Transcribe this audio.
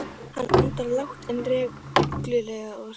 Hann andar lágt en reglulega og hrýtur.